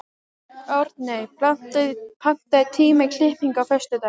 Árney, pantaðu tíma í klippingu á föstudaginn.